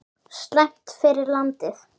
Slæmt fyrir landið!